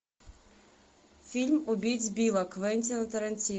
фильм убить билла квентина тарантино